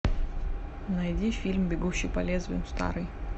найди фильм бегущий по лезвию старый